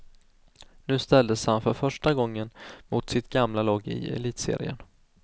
Nu ställdes han för första gången mot sitt gamla lag i elitserien.